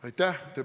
Aitäh!